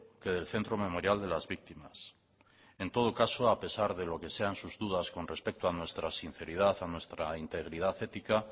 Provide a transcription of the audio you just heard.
que del centro memorial de las víctimas en todo caso a pesar de lo que sean sus dudas con respecto a nuestra sinceridad a nuestra integridad ética